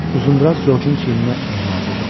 Uzundraz Georgeun çiyninə ehmalca toxundu.